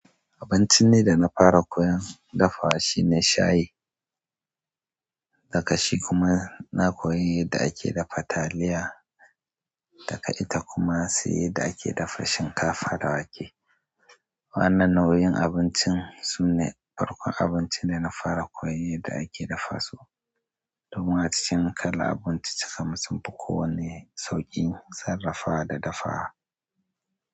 Abincin dai da na fara koyon dafawa shine shayi, haka shikuma na koyi yadda ake dafa taliya daga ita kuma sai yadda ake dafa shinkafa da wake wannan nau'in abincin sune farkon abincin da na fara koyon yadda ake dafa su. Domin a cikin kala abinci cika sunfi kowanne sauƙin sarrafa da dafawa.